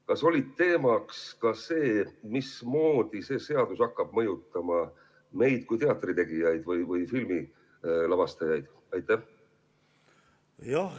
Kas oli teemaks ka see, mismoodi see seadus hakkab mõjutama meid kui teatritegijaid või filmilavastajaid?